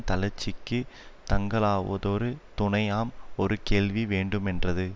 தளர்ச்சிக்குத் தங்கலாவதொரு துணையாம் இது கேள்வி வேண்டுமென்றது